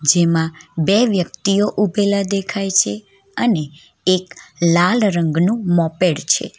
જેમાં બે વ્યક્તિઓ ઉભેલા દેખાય છે અને એક લાલ રંગનું મોપેડ છે.